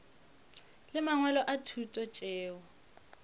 le mangwalo a thuto tšeo